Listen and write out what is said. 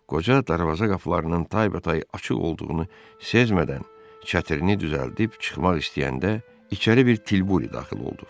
Qoca darvaza qapılarının taybatay açıq olduğunu sezmədən, çətirini düzəldib çıxmaq istəyəndə içəri bir tilburi daxil oldu.